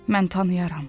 Mən tanıyarəm.